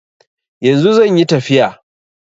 Yanzu zanyi tafiya